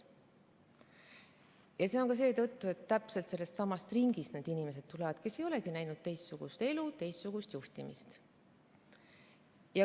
Seda ka seetõttu, et need inimesed tulevad täpselt sellestsamast ringist ja nad ei olegi näinud teistsugust elu ega teistsugust juhtimist.